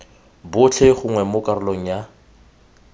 botlhe gongwe mo karolong ya